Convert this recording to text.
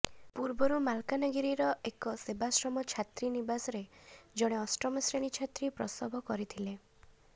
ପୂର୍ବରୁ ମାଲକାନଗିରିର ଏକ ସେବାଶ୍ରମ ଛାତ୍ରୀନିବାସରେ ଜଣେ ଅଷ୍ଟମଶ୍ରେଣୀ ଛାତ୍ରୀ ପ୍ରସବ କରିଥିଲେ